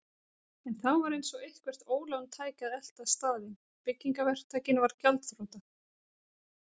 En þá var eins og eitthvert ólán tæki að elta staðinn: Byggingaverktakinn varð gjaldþrota.